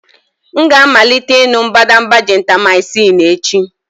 M ga-amalite ịṅụ mbadamba Gentamycin echi.